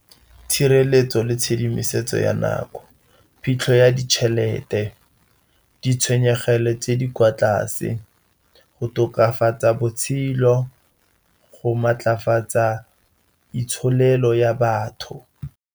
Tshireletso le tshedimosetso ya nako, phitlho ya ditšhelete, ditshwenyegelo tse di kwa tlase, go tokafatsa botshelo, go maatlafatsa itsholelo ya batho.